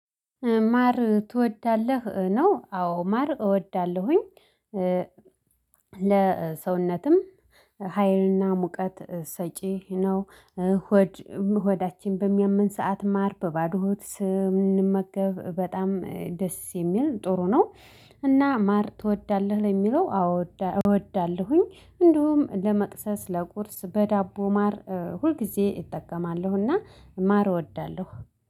ማር ትወዳለህ ነው? አዎ ማር እወዳለሁኝ ለሰውነትም ሀይልና ሙቀት ሰጪ ነው። ሆዳችን በሚያምን ሰዓት ማር በባዶ ስም። ስንመገብ በጣም ደስ የሚል ጥሩ ነው። እና ማር ትወዳለህ ለሚለው አው እወዳለሁኝ። እንዲሁም ለመክስስ ለቁርስ በዳቦ ማር ሁል ጊዜ እጠቀማለሁና ማር እወዳለሁ